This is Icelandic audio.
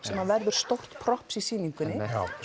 sem verður stórt props í sýningunni